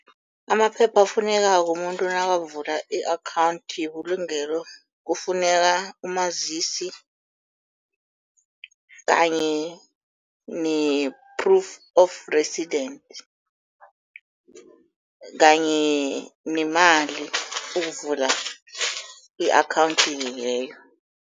Amaphepha afunekako umuntu nakavula i-akhawunthi yebulungelo kufuneka umazisi, kanye ne-proof of resident kanye nemali ukuvula i-akhawunthi leyo.